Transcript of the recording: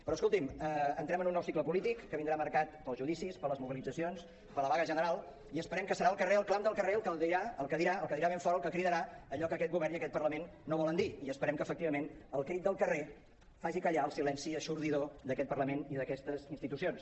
però escolti’m entrem en un nou cicle polític que vindrà marcat pels judicis per les mobilitzacions per la vaga general i esperem que serà el clam del carrer el que dirà ben fort el que cridarà allò que aquest govern i aquest parlament no volen dir i esperem que efectivament el crit del carrer faci callar el silenci eixordador d’aquest parlament i d’aquestes institucions